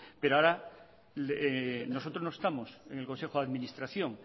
pero ahora nosotros no estamos en el consejo de administración